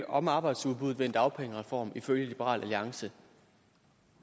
om arbejdsudbuddet ved en dagpengereform ifølge liberal alliance